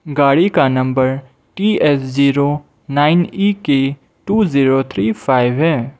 गाड़ी का नंबर T S zero nine E K two zero three five है।